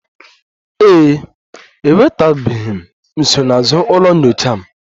Ee e, enwetabeghị m nsonaazụ ụlọ nyocha m